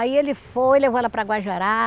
Aí ele foi, levou ela para Guajará.